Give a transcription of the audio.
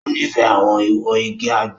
O nifẹ awọn iwo ìgi àgbon.